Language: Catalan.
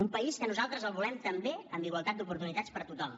un país que nosaltres el volem també amb igualtat d’oportunitats per a tothom